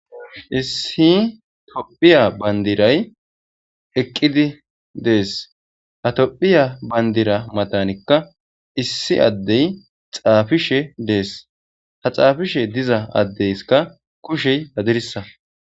Issi tophiya bandiray eqqidi dees ha tophiya bandira matanikka issi addey xaafishe dees ha xaafishe diza addeykka kushey dadirisa.